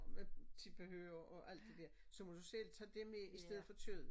Med tilbehør og alt det der så må du selv tage det med i stedet for kød